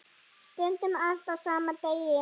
Stundum allt á sama degi.